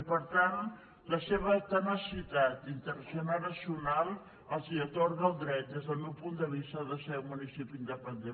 i per tant la seva tenacitat intergeneracional els atorga el dret des del meu punt de vista de ser un municipi independent